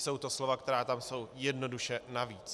Jsou to slova, která tam jsou jednoduše navíc.